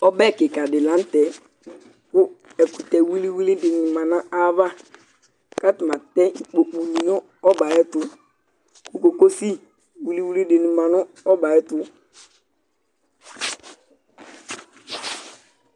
Ɔbɛ dɩ la nʋ tɛ kʋ ɛkʋtɛ wili wili dɩnɩ ma nʋ ayava kʋ atanɩ atɛ ikpokunɩ nʋ ɔbɛ yɛ ayɛtʋ kʋ kokosi wili wili dɩnɩ ma nʋ ɔbɛ yɛ ayɛtʋ